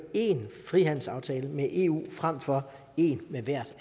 én frihandelsaftale med eu frem for en med hvert